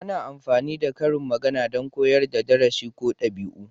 Ana amfani da karin magana don koyar da darasi ko dabi'u.